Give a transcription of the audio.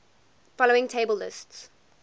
following table lists